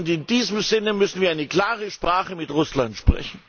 In diesem Sinne müssen wir eine klare Sprache mit Russland sprechen!